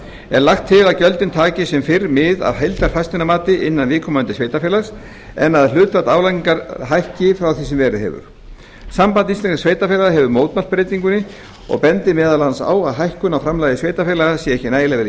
er lagt til að gjöldin taki sem fyrr mið af heildarfasteignamati innan viðkomandi sveitarfélags en að hlutfall álagningar hækki frá því sem verið hefur samband íslenskra sveitarfélaga hefur mótmælt breytingunni og bendir meðal annars á að hækkun á framlagi sveitarfélaga sé ekki nægilega vel